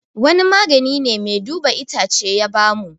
Wani magani ne mai duba itacce ya ba mu